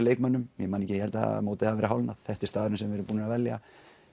leikmönnum ég held að mótið hafi verið hálfnað þetta er staðurinn sem við erum búnir að velja